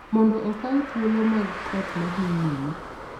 mondo okaw thuolo mag koth ma dhi nyime.